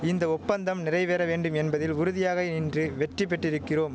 இந்த ஒப்பந்தம் நிறைவேற வேண்டும் என்பதில் உறுதியாக இன்று வெற்றி பெற்றிருக்கிறோம்